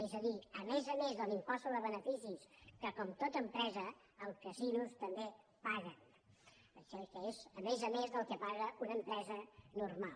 és a dir a més a més de l’impost sobre beneficis que com tota empresa els casinos també paguen em sembla que és a més a més del que paga una empresa normal